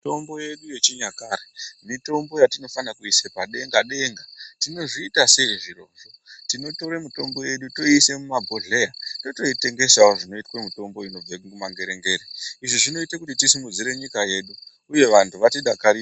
Mitombo yedu yechinyakare mitombo yatinofanire kuisa padenga denga, tinozviitasei zviro izvi? Tinotore mitombo yedu toiise mumabhodhlera totoitengesawo zvinoitwe mutombo inobva kumangere ngere, izvi zvinoite kuti tisimudzire nyika yedu uye vantu vatidakarire.